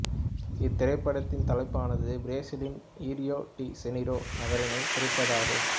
இத்திரைப்படத்தின் தலைப்பானது பிரேசிலின் இரியோ டி செனீரோ நகரினைக் குறிப்பதாகும்